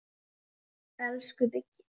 Elsku Biggi.